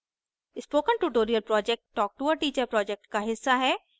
spoken tutorial project talktoateacher project का हिस्सा है